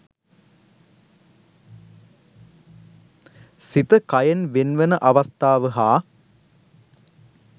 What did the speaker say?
සිත කයෙන් වෙන්වන අවස්ථාව හා